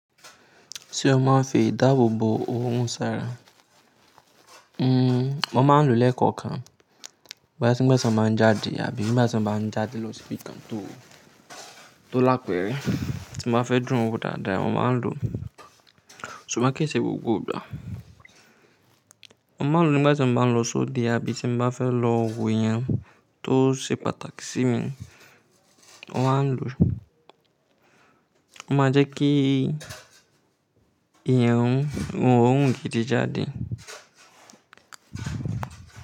Ṣé o máa ń fi ìdáàbò bò ohun ṣara? Hmm, mo máa ń lo lẹ́kọ̀ọ́ kan báyìí tí maa ń jáde àbí igba ti ń bá ń jáde lọ sí ibi kan tó, tó lápẹ́rẹ́ tí mo bá fẹ́ dùn wo dáadáa mo máa ń lo. Ṣùgbọ́n kí ṣe gbogbo igba? Mo máa ń lo nígbà tí mo bá ń lọ sóde àbí tí mo bá fẹ́ lo wo eeyan tó ṣe pàtàkì sí mi, mo máa ń lo. O máa jẹ́ kí eeyan run, òòrùn gidi jáde.